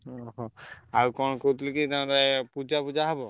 ଓହୋ ଆଉ କଣ କହୁଥିଲି କି ତମର ପୂଜା ଫୁଜା ହବ?